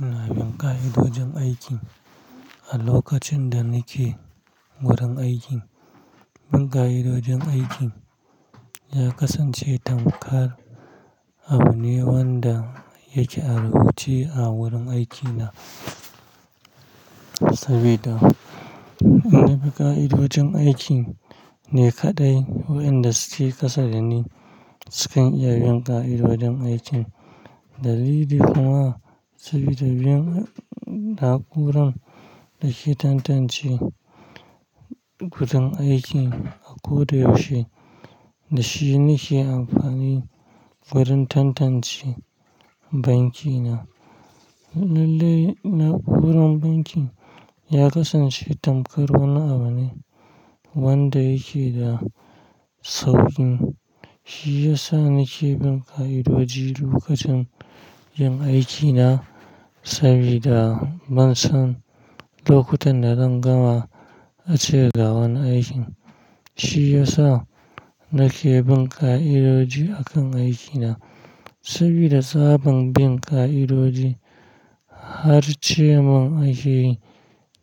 Ina bin ƙa'idojin aikin a lokacin da nake wurin aikin. Bin ƙa'idojin aikin ya kasance tamkar abun ne wanda yake rubuce a wurin aikina. Sabida in na bi ƙa'idojin aiki ne kaɗai wayanda suke ƙasa dani sukan iya bin ƙa'idojin aikin. Dalili kuma sabida bin na'uran da shi tantance gudun aikin a ko da yaushe da shi nake amfani wurin tantance banki na. Lallai na'uran bankin ya kasance tamkar wani abu ne wanda yake da sauƙin. Shi ya sa nake bin ƙa'idoji lokacin yin aiki na sabida ban san lokutan da zan gama a cigaban aikin. Shi ya sa nake bin ƙa'idoji a kan aiki na sabida tsaban bin ƙa'idoji har ce mun akeyi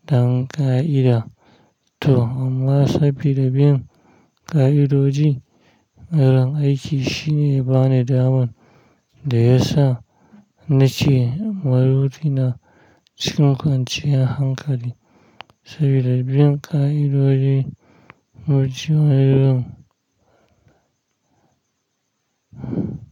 'dan ƙa'ida'. To amma sabida bin ƙa'idoji wurin aiki shine ya bani daman da ya sa nace maruti na cikin kwanciyar hankali sabida bin ƙa'idoji wurin aikin.